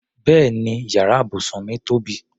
Bẹ́ẹ̀ni yàrá ibùsùn mí tóbi.